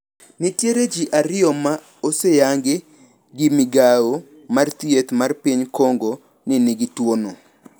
Nitiere ji ariyo ma oseyangi gi migao mar thieth mar piny Congo ni nigi tuono.